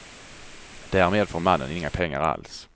Därmed får mannen inga pengar alls.